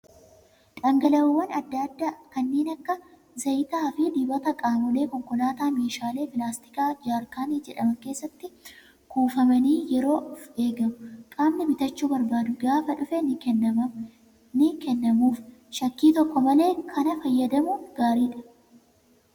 Dhangala'oowwan adda addaa kanneen akka zayitaa fi dibata qaamolee konkolaataa meeshaalee pilaastikaa jaarkaanii jedhaman keessatti kuufamanii yeroof eegamu. Qaamni bitachuu barbaadu gaafa dhufe ni kennamuuf. Shakkii tokko malee kana fayyadamuun gaariidha